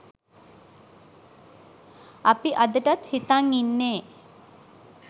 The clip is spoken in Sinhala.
අපි අදටත් හිතන් ඉන්නේ